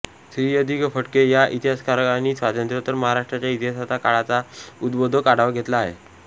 श्री य दि फडके या इतिहासकारांनी स्वातंत्र्योत्तर महाराष्ट्राच्या इतिहासाचा काळाचा उद्बोधक आढावा घेतला आहे